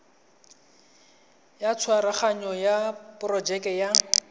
ya tshwaraganyo ya porojeke ya